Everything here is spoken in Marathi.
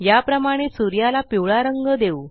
याप्रमाणे सूर्याला पिवळा रंग देऊ